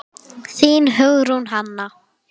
Þín, Hugrún Hanna.